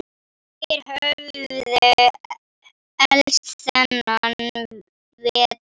Þeir höfðu elst þennan vetur.